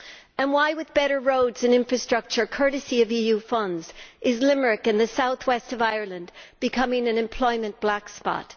And why, with better roads and infrastructure courtesy of EU funds is Limerick in the south west of Ireland becoming an employment black spot?